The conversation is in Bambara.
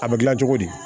A bɛ dilan cogo di